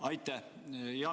Aitäh!